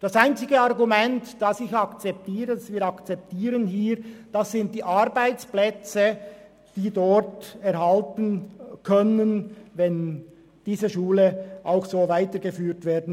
Das einzige Argument, das wir akzeptieren, sind die Arbeitsplätze, die dort erhalten werden können, wenn diese Schule so weitergeführt wird.